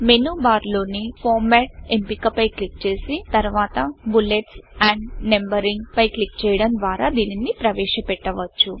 మేను bar లోని format ఎంపిక పై క్లిక్ చేసి తర్వాత బుల్లెట్స్ ఆండ్ Numberingబులెట్స్ అండ్ నంబరింగ్ పై క్లిక్ చేయడం ద్వారా దీనిని ప్రవేశ పెట్టవచ్చు